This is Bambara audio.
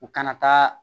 U kana taa